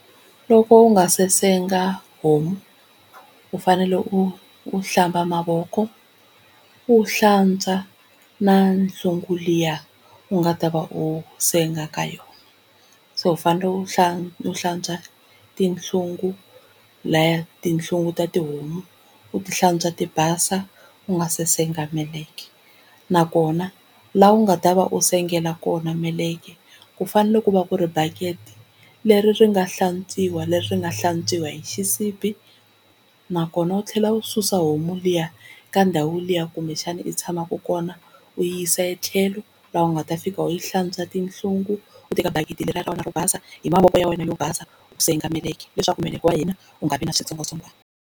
Loko u nga se senga homu u fanele u u hlamba mavoko u hlantswa na hlungu liyani u nga ta va u senga ka yona. So u fanele u hlantswa, u hlatswa tihlungu laha tihlungu ta tihomu. U ti hlantswa ti basa u nga se senga meleke nakona laha u nga ta va u sengela kona meleke ku fanele ku va ku ri bakete leri ri nga hlantswiwa leri ri nga hlantswiwa hi xisibi, nakona u tlhela u susa homu liya ka ndhawu liya kumbexana u tshamaku kona u yi yisa tlhelo laha u nga ta fika u yi hlantswa tihlungu u teka bakiti leriya ra wena ro basa hi mavoko ya wena yo basa u senga meleka leswaku meleke wa hina u nga vi na switsongwatsongwani.